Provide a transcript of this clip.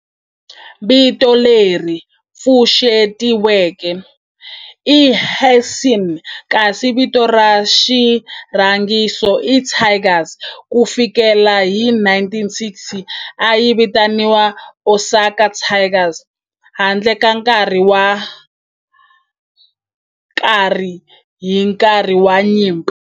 Vito leri pfuxetiweke i"Hanshin" kasi vito ra xirhangiso i"Tigers". Ku fikela hi 1960, a yi vitaniwa Osaka Tigers handle ka nkarhi wo karhi hi nkarhi wa nyimpi.